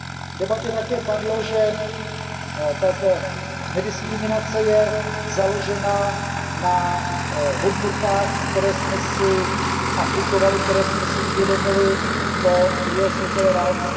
V debatě také padlo, že ta nediskriminace je založená na hodnotách, které jsme si aplikovali, které jsme si uvědomili po druhé světové válce.